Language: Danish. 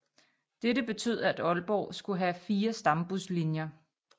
Dette betød at Aalborg skulle have 4 Stambuslinjer